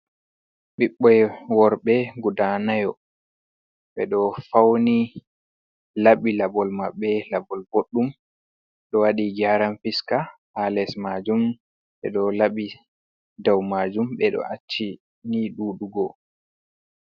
Ɓiɓɓe worɓe guda nayo ɓe ɗo fauni, laɓi laɓol maɓɓe laɓol boɗɗum, ɗo waɗi geran fuska ha les majum, ɓe ɗo labi dow majum, ɓe ɗo acci nii duu dugo.